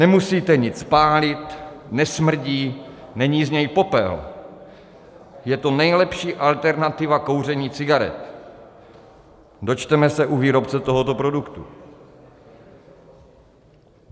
Nemusíte nic pálit, nesmrdí, není z něj popel, je to nejlepší alternativa kouření cigaret, dočteme se u výrobce tohoto produktu.